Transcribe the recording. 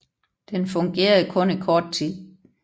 Den fungerede kun i kort tid